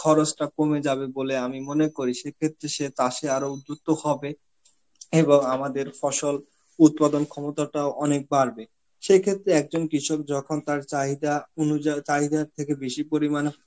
খরচটা কমে যাবে বলে আমি মনে করি. সেই ক্ষেত্রে সে চাষে আরো উদ্দক্ত হবে, এবং আমাদের ফসল উৎপাদন ক্ষমতাটাও অনেক বাড়বে. সে ক্ষেত্রে একজন কৃষক যখন তার চাহিদা অনুজাল~ সাহিদার থেকে বেশি পরিমাণে